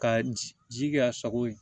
Ka ji kɛ a sago ye